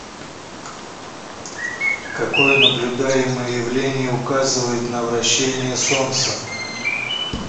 какое наблюдаемое явление указывает на вращение солнца